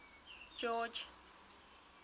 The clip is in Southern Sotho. george